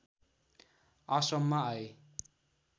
आश्रममा आए